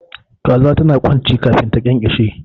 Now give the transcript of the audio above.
Kaza tana kwanci kafin ta kyankyashe